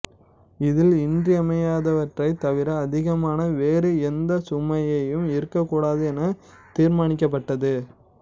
இதில் இன்றியமையாதவற்றைத் தவிர அதிகமான வேறு எந்தச் சுமையையும் இருக்கக்கூடாது என தீர்மானிக்கப்பட்டது